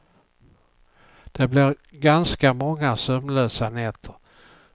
Det blir ganska många sömnlösa nätter.